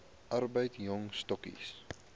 arbeid jong stokkies